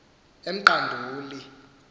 emqanduli